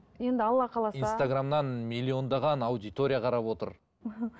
енді алла қаласа инстаграмнан миллиондаған аудитория қарап отыр